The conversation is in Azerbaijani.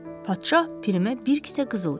Padşah Pirimə bir kisə qızıl verir.